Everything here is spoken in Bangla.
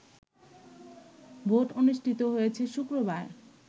ভোট অনুষ্ঠিত হয়েছে শুক্রবার